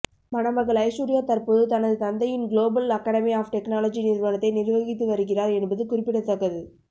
மணமகள் ஐஸ்வர்யா தற்போது தனது தந்தையின் குளோபல் அகாடெமி ஆப் டெக்னாலஜி நிறுவனத்தை நிர்வகித்து வருகிறார் என்பது குறிப்பிடத்தக்கது